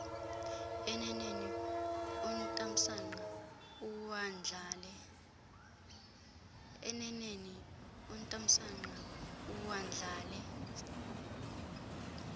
eneneni utamsanqa uwandlale